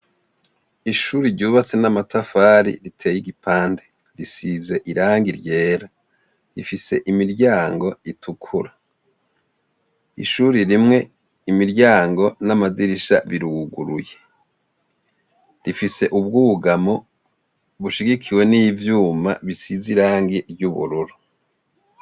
Ishuri ryubatse n'amatafari, riteye igipande; risize irangi ryera; rifise imiryango itukura, ishure rimwe imiryango n'amadirisha biruguruye; rifise ubwugamo bushigikiwe n'ivyuma bisize irangi ry'ubururu.